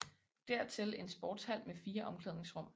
Dertil en sportshal med fire omklædningsrum